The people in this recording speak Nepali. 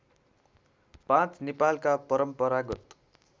५ नेपालका परम्परागत